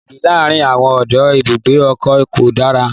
Èdè láàárín àwọn ọdọ ibùgbé ọkọ̀ ko da rara.